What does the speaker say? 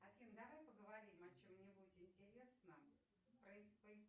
афина давай поговорим о чем нибудь интересном